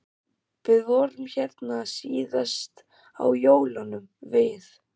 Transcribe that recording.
Við vorum hérna síðast á jólunum við